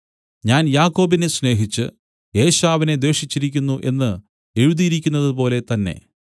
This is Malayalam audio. ഞാൻ യാക്കോബിനെ സ്നേഹിച്ച് ഏശാവിനെ ദ്വേഷിച്ചിരിക്കുന്നു എന്നു എഴുതിയിരിക്കുന്നതുപോലെ തന്നെ